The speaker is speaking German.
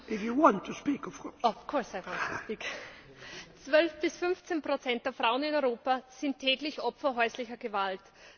Herr Präsident! 12 bis 15 Prozent der Frauen in Europa sind täglich Opfer häuslicher Gewalt.